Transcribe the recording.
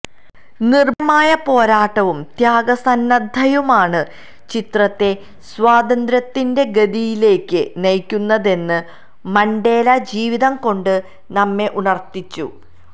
നിര്ഭയമായ പോരാട്ടവും ത്യാഗസന്നദ്ധതയുമാണ് ചരിത്രത്തെ സ്വാതന്ത്ര്യത്തിന്റെ ഗതിയിലേക്ക് നയിക്കുന്നതെന്ന് മണ്ടേല ജീവിതം കൊണ്ട് നമ്മെ ഉണര്ത്തിച്ചു